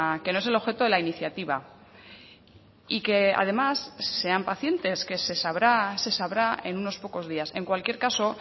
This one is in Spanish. que no es el objeto de la iniciativa y que además sean pacientes que se sabrá se sabrá en unos pocos días en cualquier caso